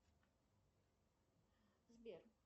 сбер